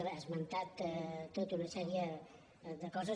ha esmentat tota una sèrie de coses